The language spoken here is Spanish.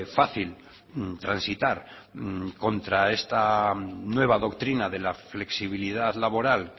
fácil transitar contra esta nueva doctrina de la flexibilidad laboral